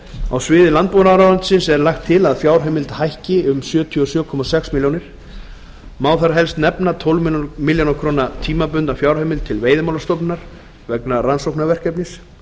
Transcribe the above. á sviði landbúnaðarráðuneytis er lagt til að fjárheimild hækki um alls sjötíu og sjö komma sex milljónir króna má þar helst nefna tólf milljónir króna tímabundna fjárheimild til veiðimálastofnunar vegna rannsóknarverkefnis